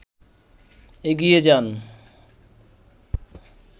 এগিয়ে যান